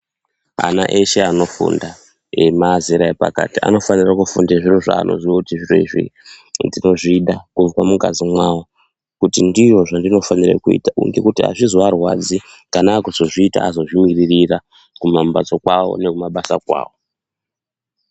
Ana eshe anofunda emazera epakati anofanirwa kufunda zviro zvaanoziya kuti zviro izvi ndinozvida kubva mungazi mwawo kuti ndizvo zvandinofanirwa kuita ngekuti azvizoarwadzi kana akuzozviita azozvimirira kumambatso kwawo nekumabasa kwawo